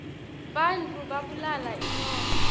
bantfu babulala inyoka